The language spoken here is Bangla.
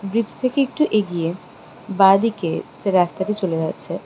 ব্রিজ থেকে একটু এগিয়ে বাঁদিকে হচ্ছে রাস্তাটি চলে যাচ্ছে।